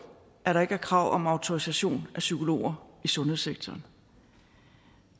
at der ikke er krav om autorisation af psykologer i sundhedssektoren